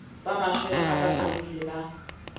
ba matshwele a baqobelli ba